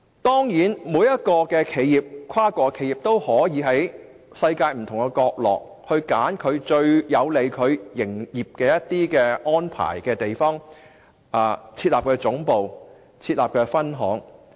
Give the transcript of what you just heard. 當然，每一間跨國企業都可以在世界不同國家，選擇對其營業安排最有利的地方設立總部和分行。